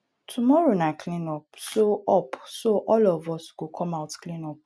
tomorrow na clean up so up so all of us go come out clean up